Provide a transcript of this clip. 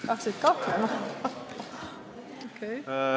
Hakkasid kahtlema!